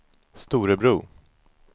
Storebro